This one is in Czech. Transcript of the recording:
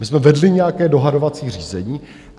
My jsme vedli nějaké dohadovací řízení.